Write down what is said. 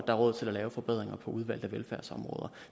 er råd til at lave forbedringer for udvalgte velfærdsområder